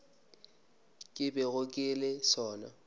ke bego ke le sona